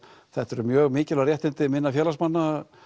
þetta eru mjög mikilvæg réttindi minna félagsmanna